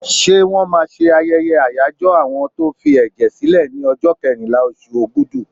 Ṣé wọ́n máa ṣe ayẹyẹ àyájọ́ àwọn tó ń fi ẹ̀jẹ̀ sílè ní ọjọ́ kẹrìnlá, oṣù Ogúdù.